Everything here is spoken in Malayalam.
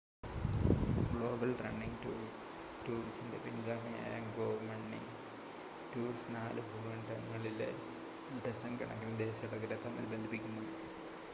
ഗ്ലോബൽ റണ്ണിംഗ് ടൂർസിൻ്റെ പിൻഗാമിയായ ഗോ റണ്ണിംഗ് ടൂർസ് നാല് ഭൂഖണ്ഡങ്ങളിലെ ഡസൻ കണക്കിന് ദേശാടകരെ തമ്മിൽ ബന്ധിപ്പിക്കുന്നു